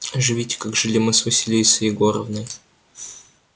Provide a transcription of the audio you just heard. живите как жили мы с василисой егоровной